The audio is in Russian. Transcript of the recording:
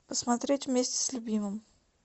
посмотреть вместе с любимым